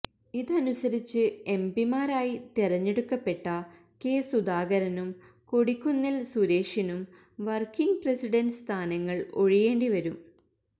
ഇതനുസരിച്ച് എംപിമാരായി തെരഞ്ഞെടുക്കപ്പെട്ട കെ സുധാകരനും കൊടിക്കുന്നിൽ സുരേഷിനും വർക്കിങ് പ്രസിഡന്റ് സ്ഥാനങ്ങൾ ഒഴിയേണ്ടിവരും